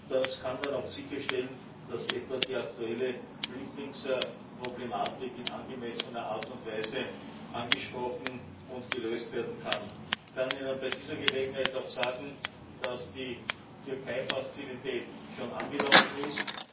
Das kann dann auch sicherstellen, dass etwa die aktuelle Flüchtlingsproblematik in angemessener Art und Weise angesprochen und gelöst werden kann. Ich kann Ihnen bei dieser Gelegenheit auch sagen, dass die Türkei Fazilität schon angelaufen